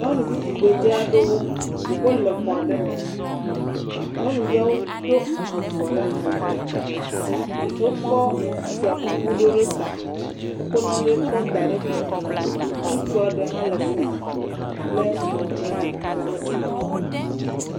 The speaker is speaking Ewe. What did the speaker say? Nyɔnuvi tugbe dzɛ aɖewo. Wole xɔa ɖe me. Nyɔnuvia wo ɖo avɔ ɖe ali. Wokɔ fia kuku ɖo ɖe ta. Wokɔ nanɛ da ɖe kɔ me. Ŋutsu ɖe hã le afima wole mic ɖe asi.